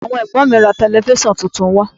Àwọn Ẹ̀gbọ́n mi ra Tẹlifísàn tuntun fún wa